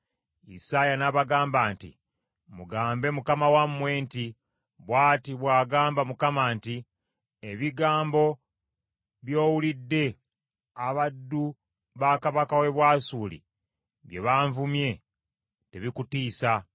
Isaaya n’abagamba nti, “Mutegeeze mukama wammwe nti, ‘Bw’ati bw’ayogera Mukama nti, Ebigambo by’owulidde abaddu ba kabaka w’e Bwasuli bye banvumye, tebikutiisa.